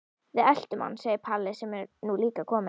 Við eltum hann, segir Palli sem er nú líka kominn.